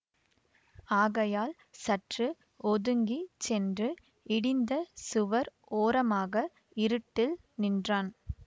ஆகையால் சற்று ஒதுங்கி சென்று இடிந்த சுவர் ஓரமாக இருட்டு நின்றான்